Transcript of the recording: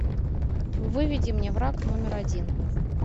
выведи мне враг номер один